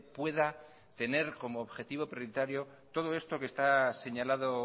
pueda tener como objetivo prioritario todo esto que está señalado